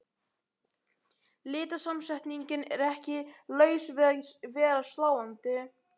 Litasamsetningin er ekki laus við að vera sláandi.